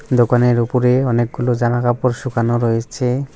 দোকানের উপরে অনেকগুলো জামাকাপড় শুকানো রয়েছে।